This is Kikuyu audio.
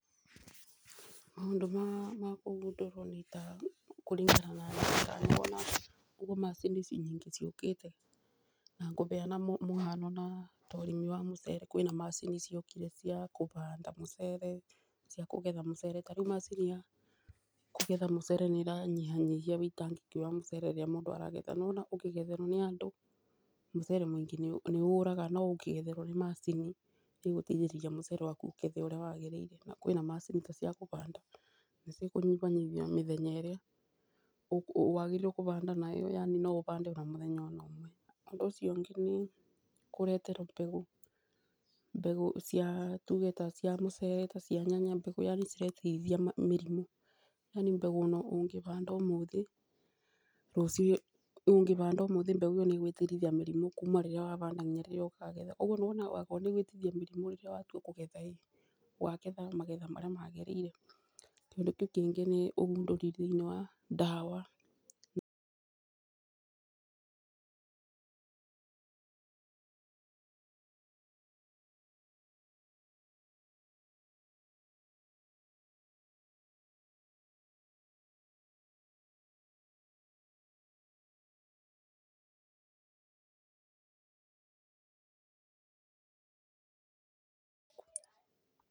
Maũndũ ma kũgundũrwo nĩ kũringana na niĩ nĩ ta ũguo macini nyingĩ ciũkĩte. Na ngũbeana mũbano na ũrĩmi wa mũcere, kwĩna macini ciokire cia kũbanda mũcere, mbegũ kũgetha mũcere ta rĩu macini cia kũgetha mũcere nĩiranyihia ũitangi wa mũcere rĩrĩa mũndũ aragetha. Nĩwona ũkĩgetherwo nĩ andũ, mũcere mũingĩ nĩũraga no ũngĩgetherwo nĩ macini, nĩ ĩgũtigĩrĩra mũcere waku nĩ wagethwo ũrĩa wagĩrĩire. Na kwĩna macini ta cia kũbanda, na nĩ ci kũnyibanyibia mĩthenya ĩrĩa wagĩrĩire kũbanda nayo yaani no ũbande ona mũthenya o no ũmwe. Ũndũ ũcio ũngĩ nĩ kũreterwo mbegũ, mbegũ cia tuuge ta mbegũ mũcere, ta cia nyanya, mbegũ yaani ciretiria mĩrimũ, yaani mbegũ ono ũngĩbanda ũmũthĩ, rũciũ, ũngĩbanda ũmũthĩ mbegũ ĩyo nĩgwĩtirithia mĩrimũ kuma rĩrĩa banda nginya rĩrĩa ũkagetha, ũguo nĩwona angĩkorrwo nũguo nĩwona angĩkorrwo nĩĩgwĩtiria mĩrimu ĩ, rĩrĩa ũgatua kũgetha rĩ, ũkagetha magetha marĩa magĩrĩiregwĩtiria mĩrimu ĩ, rĩrĩa ũgatua kũgetha ũguo nĩwona angĩkorrwo nĩĩgwĩtiria mĩrimu ĩ, rĩrĩa ũgatua kũgetha rĩ, ũkagetha magetha marĩa magĩrĩire, ũkagetha magetha marĩa magĩrĩire. Kĩndũ kĩngĩ nĩ ũgundũri thĩiniĩ wa ndawa....